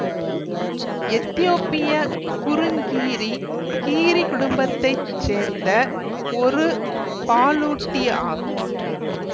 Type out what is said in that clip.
எதியோப்பிய குறுங்கீரி கீரி குடும்பத்தை சேர்ந்த ஒரு பாலூட்டி ஆகும்